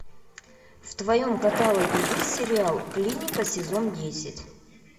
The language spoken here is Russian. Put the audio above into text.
в твоем каталоге есть сериал клиника сезон десять